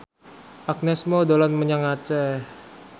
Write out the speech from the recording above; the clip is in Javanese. Agnes Mo dolan menyang Aceh